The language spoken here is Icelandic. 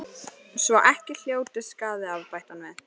Svo ekki hljótist skaði af, bætti hann við.